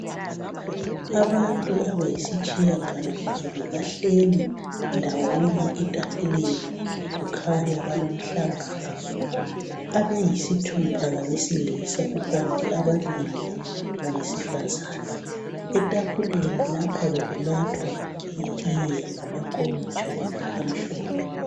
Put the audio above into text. Abantu abayisitshiya galo mbili bahleli ndawonye etafuleni kukhanya balomhlangano. Abayisithupha ngabesilisa kukanti ababili ngabesifazana. ITafuleni lapha bekunathwa itiye ngamankomitsho amhlophe